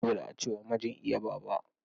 Dole ace wa mijin iya baba.